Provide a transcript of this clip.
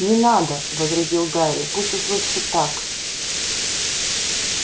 не надо возразил гарри пусть уж лучше так